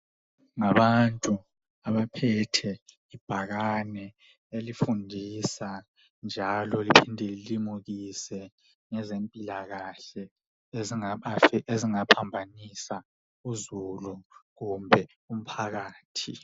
Ngabantu abaphethe ibhakane elifundisa njalo lilimukise ngezempilakahle ezingaphambanisa uzulu kumbe umphakathi.